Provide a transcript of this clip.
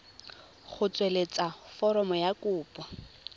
go tsweletsa foromo ya kopo